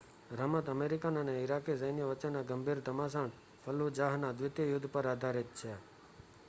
રમત અમેરિકન અને ઇરાકી સૈન્યો વચ્ચેના ગંભીર ઘમાસાણ ફલ્લુજાહના દ્વિતીય યુદ્ધ પર આધારિત છે